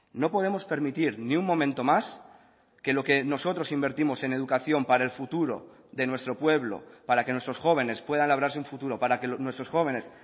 no podemos permitir ni un momento más que lo que nosotros invertimos en educación para el futuro de nuestro pueblo para que nuestros jóvenes puedan labrarse un futuro para que nuestros jóvenes